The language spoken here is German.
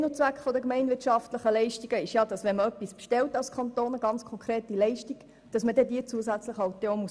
Sinn und Zweck der gemeinwirtschaftlichen Leistungen ist, dass man, wenn man als Kanton eine konkrete Leistung bestellt, diese dann zusätzlich abgelten muss.